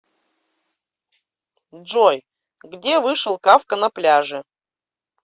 джой где вышел кафка на пляже